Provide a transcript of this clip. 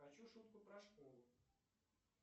хочу шутку про школу